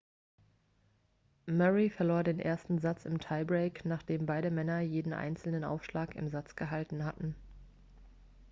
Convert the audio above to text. murray verlor den ersten satz im tiebreak nachdem beide männer jeden einzelnen aufschlag im satz gehalten hatten